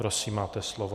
Prosím máte slovo.